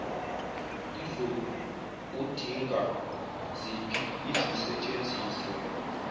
lizoudinga ziphi izisetshenziswa